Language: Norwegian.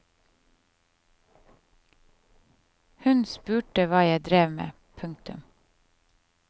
Hun spurte hva jeg drev med. punktum